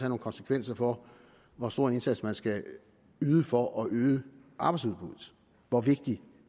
nogle konsekvenser for hvor stor en indsats man skal yde for at øge arbejdsudbuddet hvor vigtigt